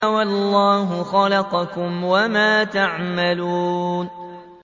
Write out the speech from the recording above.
وَاللَّهُ خَلَقَكُمْ وَمَا تَعْمَلُونَ